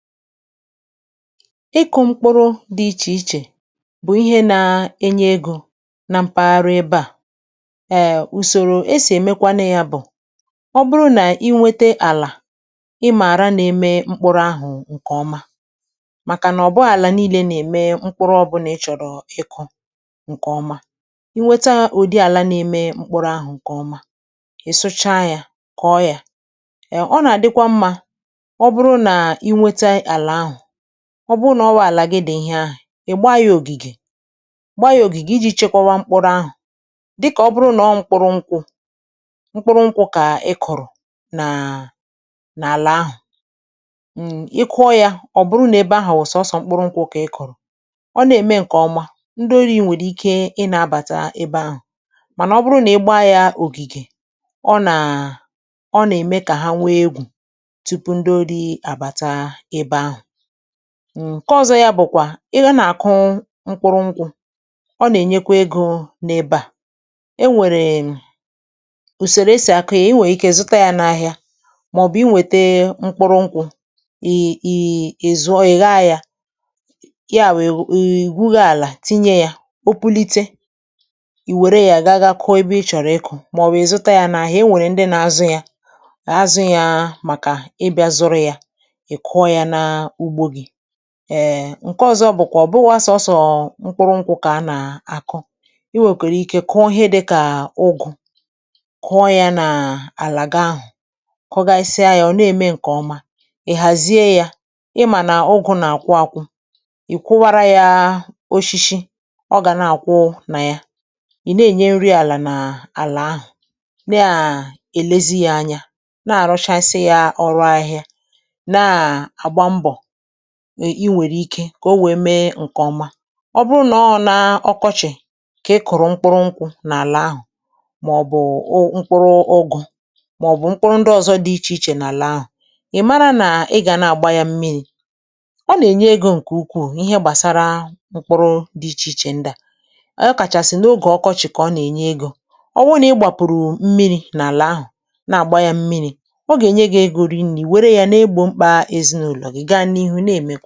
Ị́kụ̀ mkpụ̀rụ̀ dị̀ ìchè ìchè bụ̀ ị̀he nà-ènyè ègò nà mpàghàrà èbè à, um ùsòrò é sì èmèkwanụ yà bụ̀; ọ́ bụ̀rụ̀ nà ị́ nwete àlà ịmárà nà-èmè mkpụ̀rụ̀ àhụ̀ ǹkè ọ́má, màkà nà ọ̀ bụ̀ghọ̀ àlà nììlé nà-èmè mkpụ̀rụ̀ ọ̀bụ̀là ị̀ chọ̀rọ̀ ị̀kụ̀ ǹkè ọ́má. Ị̀ nwétá ùdị̀ àlá nà-èmè mkpụ̀rụ̀ àhụ̀ ǹkè ọ́má, ị̀ sụ̀chá yà kòọ̀ yà. um Ọ̀ nà-àdị̀kwá mmá ọ̀ bụ̀rụ̀ nà ị̀ nwètà àlà àhụ̀, ọ̀ bụ̀rụ̀ ná ọ́ wụ̀ àlà gị dị̀ ihè àhụ̀, ị̀ gbáá yá ògìgè gbáá yà ògìgè ìjì chékwáwá mkpụ̀rụ̀ àhụ̀ dị̀kà ọ̀ bụ̀rụ̀ nà ọ̀ mkpụrụ nkwụ̀ mkpụrụ nkwụ̀ kà ị kọ̀rọ̀ nàà n’àlà àhụ̀ um, ị́ kụọ yà, ọ̀ bụ̀rụ̀ nà èbè ahụ̀ wụ̀ sọ́sọ́ mkpụ̀rụ̀ nkwụ̀ kà ị̀ kọ̀rọ̀, ọ̀ nà-èmè ǹkè ọ́má ndị́ orì nwèrè íké ị́ nà-àbàtà ébé àhụ̀, mànà ọ̀ bụ̀rụ̀ nà ị́ gbáá yà ògìgè ọ̀ nàà ọ̀ nà-èmè kà hà nwèè ègwù tùpù ndị̀ òrì ábátáá èbè àhụ̀.[um] Nké ọ̀zọ̀ yà bụ̀kwà ị̀yá nà-àkụ̀ụ̀ mkpụ̀rụ̀ ngwụ̀ ọ̀ nà-ènyèkwà ègò n’èbè à, è nwèrè ùsòrò esì àkụ ya, i nwèrè íké zụ̀tá yà n’àhìà màọ̀bụ̀ i wètè mkpụ̀rụ̀ ngwụ̀ ị́ ị́ zụ̀ọ̀ ì gháá yà, yà wụ̀ ị̀ gwùghé àlà tìnyè yà, ò pùlìtè, ì wèrè yà gàgàkụ̀ọ̀ ebe ị́ chọ̀rọ̀ ị́kụ̀ màọ̀wụ̀ ị̀zụ̀tá yà n’àhìà é nwèrè ndị̀ nà-àzụ̀ yà àzụ̀ yà màkà ị̀bị̀à zụ̀rụ̀ yà, ị́ kụ̀ọ̀ yà n’úgbó gị́. um Nké ọ̀zọ̀ bụ̀kwà ọ̀ bụ̀wà sọ̀ọ̀sọ̀ mkpụ̀rụ̀ nkwụ̀ kà áá nàà-àkụ̀. i nwèkwèrè íké kụ́ọọ́ ị̀hè dị́kàà ụ́gụ̀, kụ́ọ́ yà n’àlàgà àhụ̀ kọ̀gàsiá yá ọ̀ nà-èmè ǹkè ọ́má, ị̀ hàzié yá,ị̀ mà nà ụ́gụ̀ nà-àkwụ̀ àkwụ̀, ị̀ kwụ̀wàrà yáá òshíshí ọ̀ gá nà-àkwụ̀ nà yà, ị̀ nà-ènyè nrì àlà n’àlà ahụ̀ nà èlèzi yá ànyà nà-àrụ̀chàsịà yà ọ̀rụ̀ ahị̀hị̀à, nàà àgbà mbọ̀ ị̀ nwèrè ìkè kà ò nwèè méé ǹkè ọ́má. Ọ̀ bụ̀ nà ọ̀ ná ọ́kọ́chị̀ kà ị̀ kụ̀rụ̀ mkpụ̀rụ̀ nkwụ̀ n’àlà àhụ̀ màọ̀bụ̀ ụ̀ mkpụ̀rụ̀ ụ́gụ̀ màọ̀bụ̀ mkpụ̀rụ̀ ndị ọ̀zọ̀ dị íchè íchè n’àlà àhụ̀, ị̀ màrà nà ị̀ gà nà-àgbà yà mmìrì. Ọ́ nà-ènyè ègò ǹkè ùkwùù n’ìhè gbàsàrà mkpụ̀rụ̀ dị̀ ìchè ichè ndị̀à ọ̀ kàchàsị̀ n’ògè ọ̀kọ̀chị̀ kà ọ̀ nà-ènyè ègò. Ọ̀wụ̀ụ̀ nà ị́ gbàpùrù mmìriì n’àlà àhụ̀ nà-àgbà yà mmìrì ọ gà-ènyè gị̀ ègò rìnnè ì wèrè yà nà-ègbò mkpá èzinụ̀lọ̀ gá nịhù nà-èmè